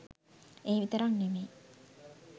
ඒ විතරක් නෙමෙයි